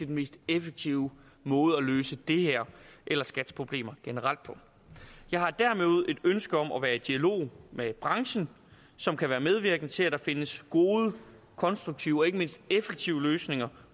mest effektive måde at løse det her eller skats problemer generelt på jeg har derimod et ønske om at være i dialog med branchen som kan være medvirkende til at der findes gode og konstruktive og ikke mindst effektive løsninger